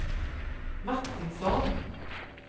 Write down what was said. Martinsson